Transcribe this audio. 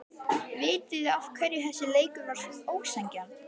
Vitiði af hverju þessi leikur var ósanngjarn?